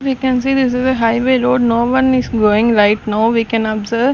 We can see this is a highway road no one is going right now we can observe --